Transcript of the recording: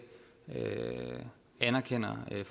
man har en